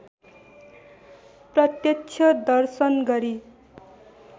प्रत्यक्ष दर्शन गरी